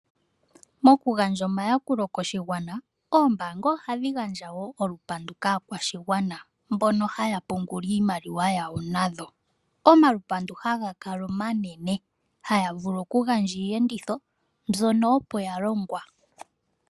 Mokugandja omayakulo koshigwana oombaanga ohadhi gandja wo olupandu kaakwashigwana mbono haya pungula iimaliwa yawo nadho. Omalupandu hagakala omanene hayavulu okugandja iiyenditho mbyono opo yalongwa.